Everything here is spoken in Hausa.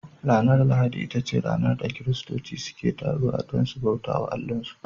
Ranar lahadi ita ce ranar da kiristoci ke taruwa don su bauta wa Allahnsu